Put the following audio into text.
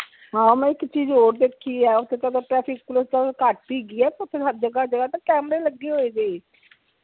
ਹਾਂ ਮੈਂ ਇਕ ਚੀਜ਼ ਹੋਰ ਦੇਖੀ ਆ police ਤਾ ਘਟ ਹੇਗੀ ਆ ਪਰ ਹਰ ਜਗਾਹ ਤੇ ਕੈਮਰੇ ਲਗੇ ਹੋਏ ਨੇ